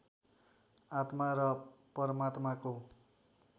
आत्मा र परमात्माको